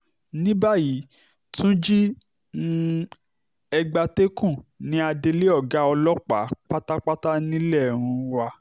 ní báyìí túnjí um egbatẹ́kùn ní adelé ọ̀gá ọlọ́pàá pátápátá nílé um wa